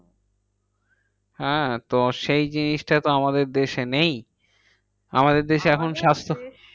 হ্যাঁ তো সেই জিনিসটা তো আমাদের দেশে নেই। আমাদের দেশে এখন স্বাস্থ আমাদের দেশ